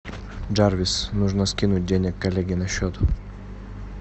джарвис нужно скинуть денег коллеге на счет